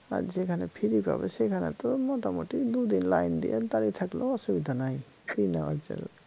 আর যেখানে free পাবে সেখানে তো মোটামুটি দুদিন line দিয়ে দাড়িয়ে থাকলেও অসুবিধা নাই free নেওয়ার জন্য